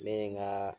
Ne ye n ka